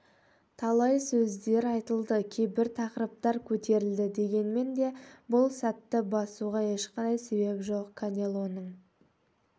талай сөздер айтылды кейбір тақырыптар көтерілді дегенмен де бұл сәтті басуға ешқандай себеп жоқ канелоның